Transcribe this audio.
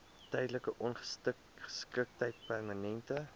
tydelike ongeskiktheid permanente